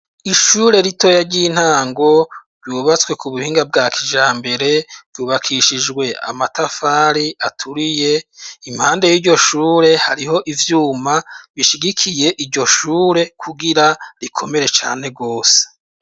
Ishure ritoya ry'intango, ryubatswe k'ubuhinga bwa kijhambere, ryubakishijwe amatafari aturiye, impande y'iryo shure, hariho ivyuma bishigikiye iryo shure kugira rikomere cane rwose.